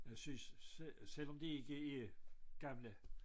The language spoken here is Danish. Jeg synes selvom de ikke er gamle